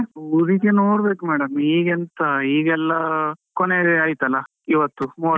ಊರಿಗೆ ನೋಡ್ಬೇಕು madam , ಈಗ ಎಂತ ಈಗೆಲ್ಲ ಕೊನೆ ಅಯ್ತಲ್ಲ ಇವತ್ತು ಮೂವತ್ತೊಂದು.